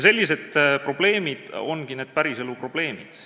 Sellised probleemid ongi need päriselu probleemid.